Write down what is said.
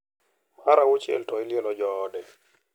Mar auchiel to ilielo joode.